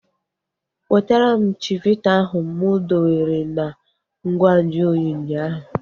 Wetara m chivita ahu mụ dowere na ngwa nju oyi ụnyaahụ!